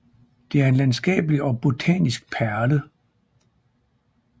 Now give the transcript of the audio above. Det er en landskabelig og botanisk perle